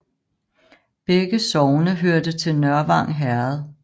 Begge sogne hørte til Nørvang Herred